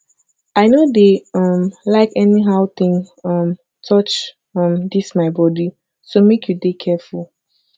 i no dey um like anyhow thing um touch um dis my body so make you dey careful